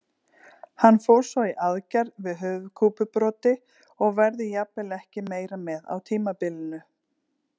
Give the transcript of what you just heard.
Hann fór svo í aðgerð við höfuðkúpubroti og verður jafnvel ekki meira með á tímabilinu.